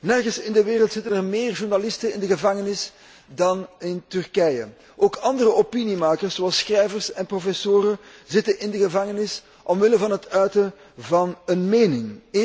Nergens in de wereld zitten er meer journalisten in de gevangenis dan in Turkije. Ook andere opiniemakers, zoals schrijvers en professoren, zitten in de gevangenis omwille van het uiten van een mening.